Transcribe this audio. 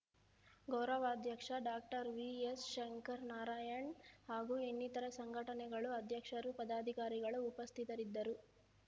ಗೌರವಾಧ್ಯಕ್ಷ ಡಾಕ್ಟರ್ ವಿಎಸ್‌ಶಂಕರ್‌ ನಾರಾಯಣ್‌ ಹಾಗೂ ಇನ್ನಿತರೆ ಸಂಘಟನೆಗಳ ಅಧ್ಯಕ್ಷರು ಪದಾಧಿಕಾರಿಗಳು ಉಪಸ್ಥಿತರಿದ್ದರು